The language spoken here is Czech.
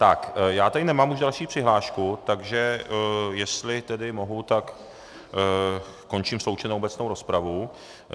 Tak já tady nemám už další přihlášku, takže jestli tedy mohu, tak končím sloučenou obecnou rozpravu.